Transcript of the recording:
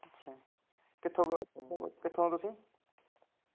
ਅੱਛਾ ਕਿੱਥੋਂ ਕ ਕਿੱਥੋਂ ਓ ਤੁਸੀਂ?